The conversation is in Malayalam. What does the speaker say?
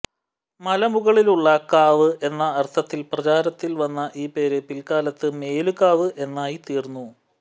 മലമുകളിലുള്ള കാവ് എന്നാ അർത്ഥത്തിൽ പ്രചാരത്തിൽ വന്ന ഈ പേര് പിൽക്കാലത്ത് മേലുകാവ് എന്നായിത്തീർന്നു